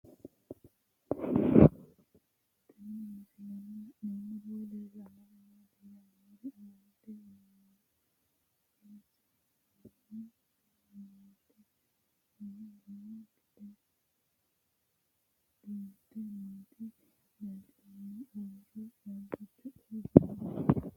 Tenne misilenni la'nanniri woy leellannori maattiya noori amadde yinummoro isilaamu ama'notte mine lowo daga duunante nootti leelittanno uure caabbichu xawanna noo